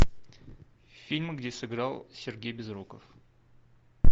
фильм где сыграл сергей безруков